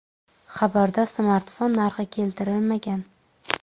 Xabarda smartfon narxi keltirilmagan.